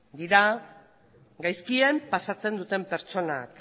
dira gaizkien pasatzen duten pertsonak